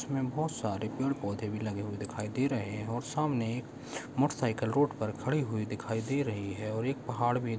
इसमें बहुत सारे पेड़-पौधे भी लगे हुए दिखाई दे रहे है और सामने एक मोटर साइकल रोड पर खड़ी दिखाई दे रही है और एक पहाड़ भी--